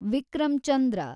Vikram Chandra